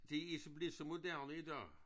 Det er blevet så moderne i dag